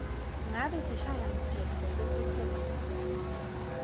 ngabe sishayamtsetfo sesifundza